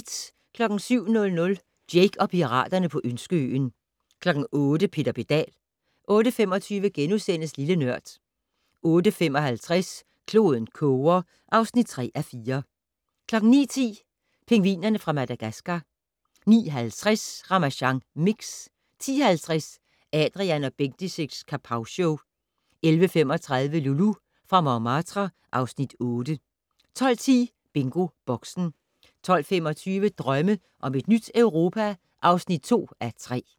07:00: Jake og piraterne på Ønskeøen 08:00: Peter Pedal 08:25: Lille Nørd * 08:55: Kloden koger (3:4) 09:10: Pingvinerne fra Madagascar 09:50: Ramasjang Mix 10:50: Adrian & Bendix' Kapowshow 11:35: Loulou fra Montmartre (Afs. 8) 12:10: BingoBoxen 12:25: Drømme om et nyt Europa (2:3)